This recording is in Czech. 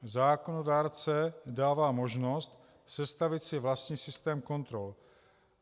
Zákonodárce dává možnost sestavit si vlastní systém kontrol.